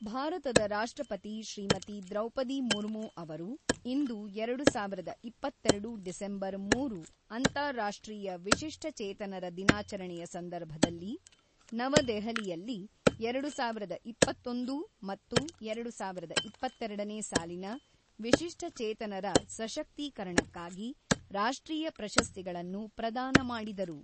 ಭಾರತದ ರಾಷ್ಟ್ರಪತಿ ಶ್ರೀಮತಿ ದ್ರೌಪದಿ ಮುರ್ಮು ಅವರು ಇಂದು ಎರಡು ಸಾವಿರದ ಇಪ್ಪತ್ತೆರಡು ಡಿಸೆಂಬರ್ ಮೂರು ಅಂತಾರಾಷ್ಟ್ರೀಯ ವಿಶಿಷ್ಟಚೇತನರ ದಿನಾಚರಣೆಯ ಸಂದರ್ಭದಲ್ಲಿ ನವದೆಹಲಿಯಲ್ಲಿ ಎರಡು ಸಾವಿರದ ಇಪ್ಪತ್ತೊಂದು ಮತ್ತು ಎರಡು ಸಾವಿರದ ಇಪ್ಪತ್ತೆರಡನೇ ಸಾಲಿನ ವಿಶಿಷ್ಟಚೇತನರ ಸಶಕ್ತೀಕರಣಕ್ಕಾಗಿ ರಾಷ್ಟ್ರೀಯ ಪ್ರಶಸ್ತಿಗಳನ್ನು ಪ್ರದಾನ ಮಾಡಿದರು.